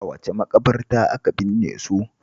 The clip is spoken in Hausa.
A wace maƙabarta aka binne su?